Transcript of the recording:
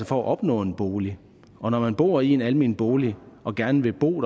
for at opnå en bolig og når man bor i en almen bolig og gerne vil bo